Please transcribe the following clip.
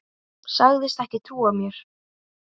Sagðist ekki trúa mér.